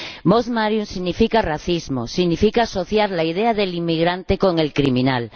Mos Maiorum significa racismo, significa asociar la idea del inmigrante con el criminal.